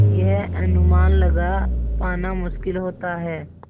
यह अनुमान लगा पाना मुश्किल होता है